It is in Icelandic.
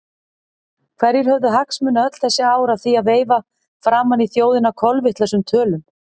Hverjir höfðu hagsmuni öll þessi ár af því að veifa framan í þjóðina kolvitlausum tölum?